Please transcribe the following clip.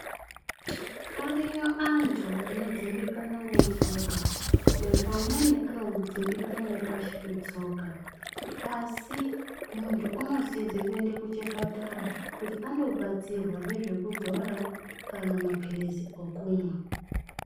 Ariyo antu anodzimbikana netsoka. Vamweni anodzimbikana nepashi petsoka. Asi muntu unosize kuende kuchipatara kuti andobatsirwa nezvekudzora kana maphilizi okumwa.